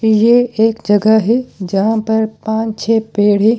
ये एक जगह है यहां पर पाँच छह पेड़ है।